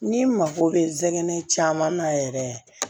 N'i mago bɛ zɛgɛnɛ caman na yɛrɛ